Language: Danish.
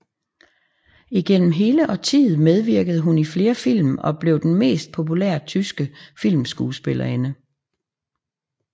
Igennem hele årtiet medvirkede hun i flere film og blev den mest populære tyske filmskuespillerinde